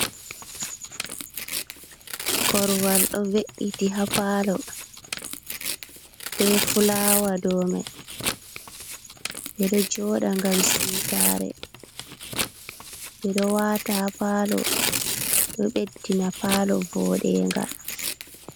Korwal ɗo ve'iti ha paalo, be fulawa do mai. Ɓe ɗo jooɗa ngam siwtare, ɓe ɗo waata ha paalo, ɗo ɓeddina paalo voɗenga.